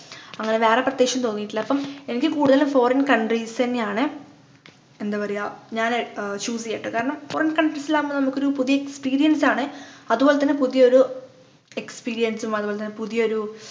അങ്ങനെ വേറെ പ്രത്യേകിച്ചൊന്നും തോന്നിട്ടില്ല അപ്പം എനിക്ക് കൂടുതലും Foreign countries ന്നെയാണ് എന്ത് പറയുആ ഞാന് ആഹ് choose ചെയ്യാട്ടോ കാരണം Foreign countries ലാവുമ്പം നമ്മക്കൊരു പുതിയ experience ആണ് അതുപോലെ തന്നെ പുതിയൊരു experience ഉം അതുപോലെതന്നെ പുതിയൊരു